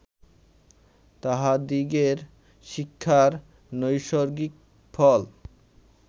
তাঁহাদিগের শিক্ষার নৈসর্গিক ফল